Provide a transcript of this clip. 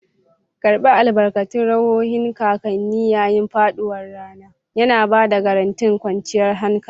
Karɓi albarkan ruhohin kakanni yayin faɗuwar rana, yana ba da garantin kwanciyar hankali.